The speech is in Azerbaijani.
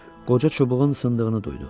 Qoca çubuğun sındığını duydu.